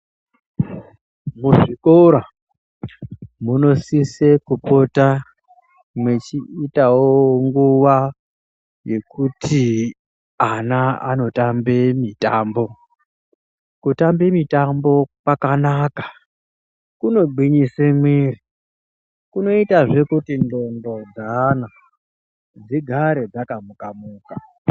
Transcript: Muzvikora munosise kupota mwechiitawo nguwa yekuti ana anotambe mitambo, kutambe mitambo kwakanaka kunogwinyise miwiri, kunoita zvee kuti ndxondo dzeana dzigare dzakamuka muka.